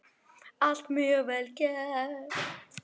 Allt mjög vel gert.